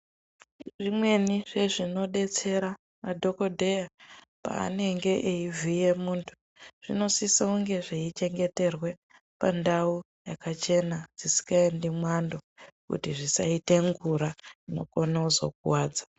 Zvimweni zvezvinodetsera madhokodheya paanenge eivhiya muntu zvinosiso kunge zveichengeterwa pandau yakachena dzisingaendi mwando kuti zvisaenda ngura inokone kuzokuwadza.